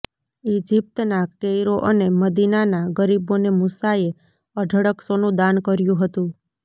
ઇજિપ્તના Cairo અને મદીનાના ગરીબોને મુસાએ અઢળક સોનું દાન કર્યું હતું